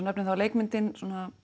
nefnir er leikmyndin